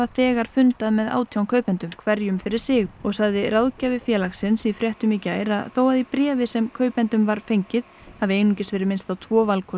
þegar fundað með átján kaupendum hverjum fyrir sig og sagði ráðgjafi félagsins í fréttum í gær að þó að í bréfi sem kaupendum var fengið hafi einungis verið minnst á tvo valkosti